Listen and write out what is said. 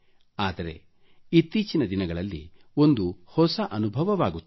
ಆದರೆ ಇತ್ತೀಚಿನ ದಿನಗಳಲ್ಲಿ ಒಂದು ಹೊಸ ಅನುಭವವಾಗುತ್ತಿದೆ